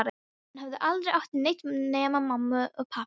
Hann hafði aldrei átt neitt nema mömmu og pabba.